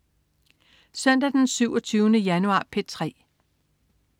Søndag den 27. januar - P3: